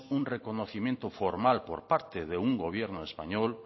un reconocimiento formal por parte de un gobierno español